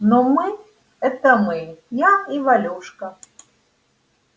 ну мы это мы я и валюшка